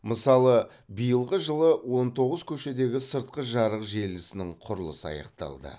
мысалы биылғы жылы он тоғыз көшедегі сыртқы жарық желісінің құрылысы аяқталды